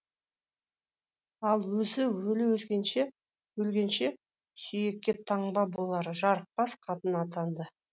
ал өзі өле өлгенше сүйекке таңба болар жарықбас қатын атанды